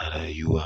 a rayuwa.